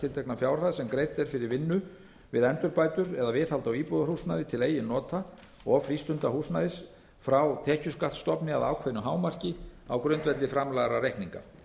tiltekna fjárhæð sem greidd er fyrir vinnu við endurbætur eða viðhald á íbúðarhúsnæði til eigin nota og frístundahúsnæði frá tekjuskattsstofni að ákveðnu hámarki á grundvelli framlagðra reikninga